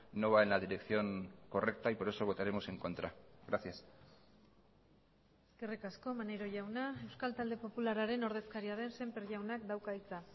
no va en la dirección correcta y por eso votaremos en contra gracias eskerrik asko maneiro jauna euskal talde popularraren ordezkaria den semper jaunak dauka hitza